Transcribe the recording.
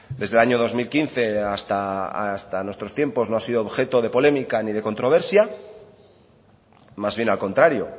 desde el año dos mil quince hasta nuestros tiempos no ha sido objeto de polémica ni de controversia más bien al contrario